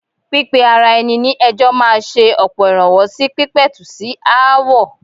Pípe ara ẹni ní ẹjọ́ máa ṣe ọ̀pọ̀ ìrànwọ́ sí pípẹ̀tù sí aáwọ̀.